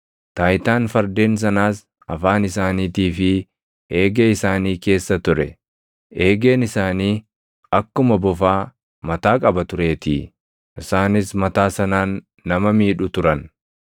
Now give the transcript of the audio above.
Taayitaan fardeen sanaas afaan isaaniitii fi eegee isaanii keessa ture; eegeen isaanii akkuma bofaa mataa qaba tureetii; isaanis mataa sanaan nama miidhu turan.